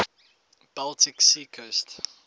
baltic sea coast